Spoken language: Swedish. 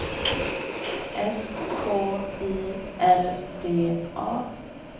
S K I L D A